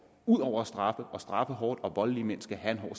ud over at straffe og straffe hårdt for voldelige mænd skal have en